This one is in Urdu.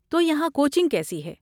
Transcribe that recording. تو یہاں کوچنگ کیسی ہے؟